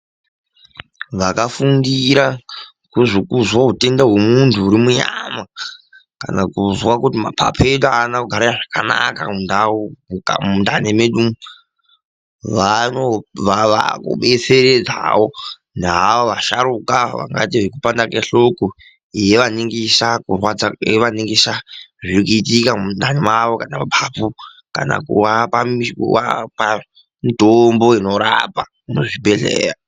Vakafundira kuzwa hutenda hwemundu uri munyama kana kuzwa kuti mapapu edu haana kugara zvakanaka mumwiri mundani medu vava kubetseredzawo navavo vasharukwa vakaita zvekupanda kwehloko yevaningisa zviri kuitika mundani mavo kana mapapu kana kuvapa mitombo inorapa muzvibhedhleya.